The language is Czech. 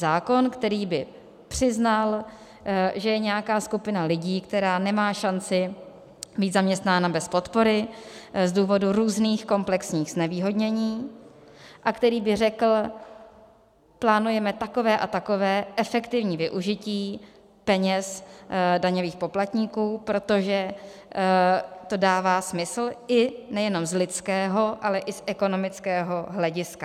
Zákon, který by přiznal, že je nějaká skupina lidí, která nemá šanci být zaměstnána bez podpory z důvodu různých komplexních znevýhodněn a který by řekl: plánujeme takové a takové efektivní využití peněz daňových poplatníků, protože to dává smysl, i nejenom z lidského, ale i z ekonomického hlediska.